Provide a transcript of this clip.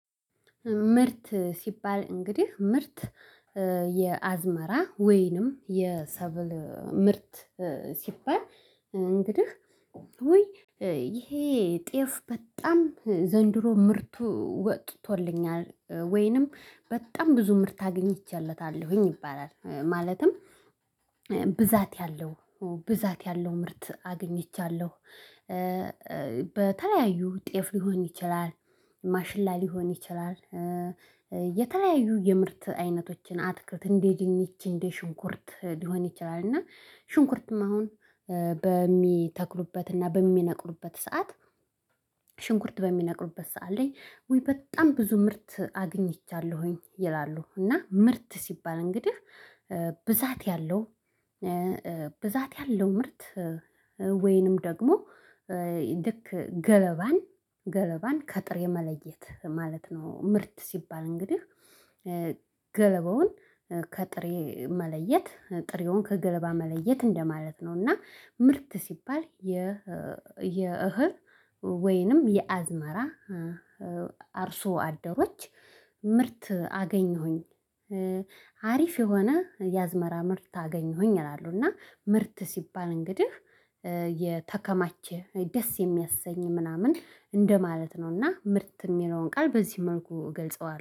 ምርት ሲባል እንግዲህ ምርት የአዝመራ ወይንም የሰብል ምርት ሲባል እንግዲህ ይሄ ጤፍ በጣም ዘንድሮ ምርቱ ወቅቶልኛል ወይንም በጣም ብዙ ምርት አግኝቼለታለሁኝ ይባላል። ማለትም ብዛት ያለው ብዛት ያለው ምርት አግኝቻለሁ። የተለያዩ ጤፍ ሊሆን ይችላል ማሽላ ሊሆን ይችላል። የተለያዩ የምርት አይነቶችን አትክልት እንዴት ይሄን ይሄን ሽንኩርት ሊሆን ይችላል እና ሽንኩርትም አሁን በሚተክሉበት እና በሚነቅሉበት ሰዓት። ሽንኩርት በሚነቅሉበት ሰዓት ላይ ወይ በጣም ብዙ ምርት አግኝቻለሁኝ ይላሉ። እና ምርት ሲባል እንግዲህ ብዛት ያለው ብዛት ያለው ምርት ወይንም ደግሞ ልክ ገለባን ገለባን ከጥሬ መለየት ማለት ነው። ምርት ሲባል እንግዲህ በተለያዩ ጤፍ ሊሆን ይችላል። ማሽላ ሊሆን ይችላል። የተለያዩ የምርት አይነቶችን አትክልት እንዴት ይሄን ይሄን ሽንኩርት ሊሆን ይችላል እና ሽንኩርትም አሁን በሚተክሉበት እና በሚነቅሉበት ሰዓት። ሽንኩርት በሚነቅሉበት ሰዓት አለኝ ወይ በጣም ብዙ ምርት አግኝቻለሁኝ ይላሉ። እና ምርት ሲባል እንግዲህ ብዛት ያለው ብዛት ያለው ምርት ወይንም ደግሞ ልክ ገለባን ገለባን ከጥሬ የመለየት ማለት ነው። ምርት ሲባል እንግዲህ